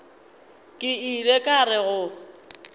ke ile ka re go